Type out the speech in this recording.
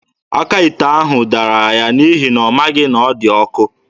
Aka ite ahụ dara ya n'ihi na ọ maghị na ọ dị ọkụ.